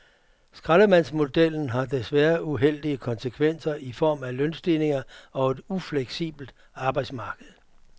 Skraldemandsmodellen har desværre uheldige konsekvenser i form af lønstigninger og et ufleksibelt arbejdsmarked.